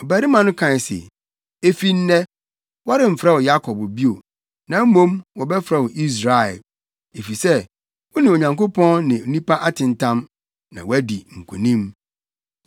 Ɔbarima no kae se, “Efi nnɛ, wɔremfrɛ wo Yakob bio, na mmom wɔbɛfrɛ wo Israel. Efisɛ wo ne Onyankopɔn ne nipa atentam, na woadi nkonim.”